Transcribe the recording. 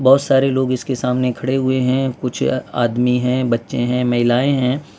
बहुत सारे लोग इसके सामने खड़े हुए हैं कुछ आदमी हैं बच्चे हैं महिलाएं हैं।